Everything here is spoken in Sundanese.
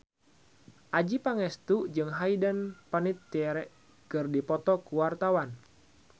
Adjie Pangestu jeung Hayden Panettiere keur dipoto ku wartawan